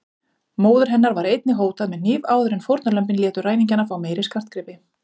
Móður hennar var einnig hótað með hníf áður en fórnarlömbin létu ræningjana fá meiri skartgripi.